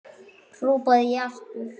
hrópaði ég aftur.